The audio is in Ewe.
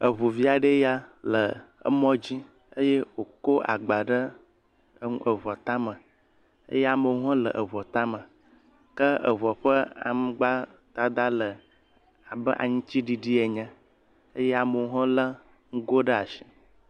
Eŋu vi aɖee ya le emɔ dzi eye wokɔ agba ɖe em eŋua tame eye amewo hã le eŋua ta me. Ke eŋua ƒe aŋgbadada le abe aŋtsiɖiɖi ene eye amewo hã le ŋgo ɖe asi.